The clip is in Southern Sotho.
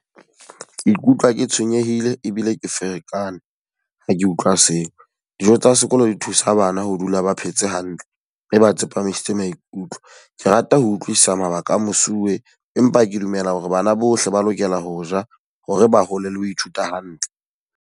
Ke ikutlwa ke tshwenyehile ebile ke ferekane, ha ke utlwa seo. Dijo tsa sekolo di thusa bana ho dula ba phetse hantle mme ba tsepamisitse maikutlo. Ke rata ho utlwisisa mabaka a mosuwe, empa ke dumela hore bana bohle ba lokela ho ja hore ba hole le ho ithuta hantle.